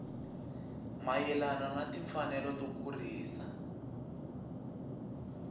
mayelana na timfanelo to kurisa